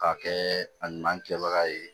K'a kɛ a ɲuman kɛbaga ye